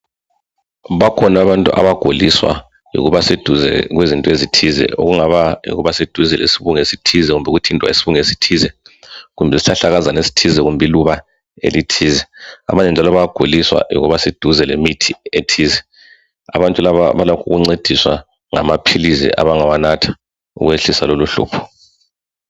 Bakhona abantu abaguliswa yikuba seduze kwezinto ezithize okungaba sedeze lesibungu esithize kumbe ukuthintwa yisibungu esithize, kumbe isihlahlakazana esithize kumbe iluba elithize. Abanye njalo bayaguliswa yikuba seduze lemithi ethize. Abantu laba balakh' ukuncediswa ngamaphilizi abangawanatha ukwehlisa lolohlupho.